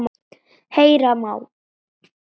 Heyra má